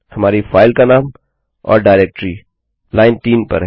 हमारी फाइल का नाम और डाइरेक्टरी लाइन 3 पर है